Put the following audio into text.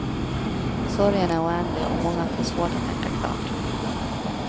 Sorgen är oändlig och många får svårt att tänka klart.